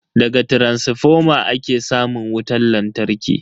Daga taransifoma ake samun wutan lantarki.